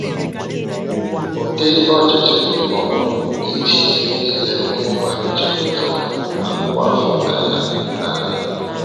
Ụdị ọchịchị ma ọ bụ ịchịisi nile ụmụ mmadụ chepụtaworo akụwo afọ n’ala n’ala.